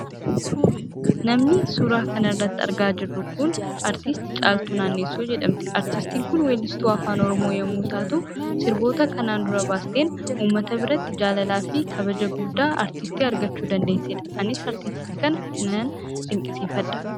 Namni suuraa kanarratti argaa jirru kun, artist Caaltuu Naannessoo jedhamti. Aartistin kun weellistuu afaan oromoo yommuu taatu, sirboota kanaan dura baasteen, uummata biratti jaalalaafi kabaja guddaa, artistii argachuu dandeessedha. Anis artistii kana nan dinqisiifadha.